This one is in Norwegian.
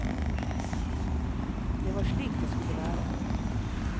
Det var slik det skulle være.